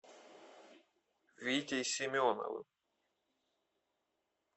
витей семеновым